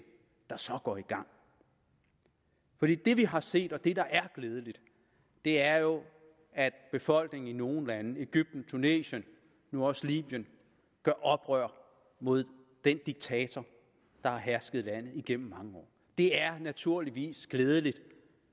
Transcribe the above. der så går i gang det vi har set og det der er glædeligt er jo at befolkningen i nogle lande egypten tunesien nu også libyen gør oprør mod den diktator der har hersket i landet igennem mange år det er naturligvis glædeligt